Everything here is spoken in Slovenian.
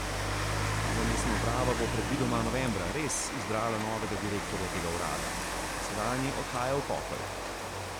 Nova mestna uprava bo predvidoma novembra res izbrala novega direktorja tega urada, ker sedanji odhaja v pokoj.